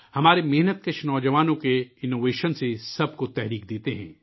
ہمارے محنت کش نو جوانوں کے اننوویشن سب کو ترغیب دیتے ہیں